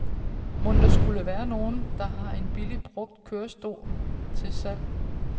Mon der skule være nogen, der har en billig brugt kørestol til salg.